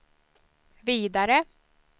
vidare